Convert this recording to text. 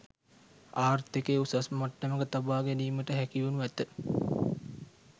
ආර්ථිකය උසස් මට්ටමක තබා ගැනීමට හැකිවනු ඇත.